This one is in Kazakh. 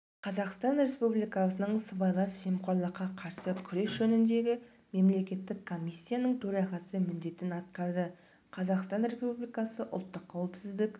қазақстан республикасының сыбайлас жемқорлыққа қарсы күрес жөніндегі мемлекеттік комиссиясының төрағасы міндетін атқарды қазақстан республикасы ұлттық қауіпсіздік